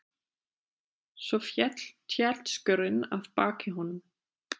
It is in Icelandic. Svo féll tjaldskörin að baki honum.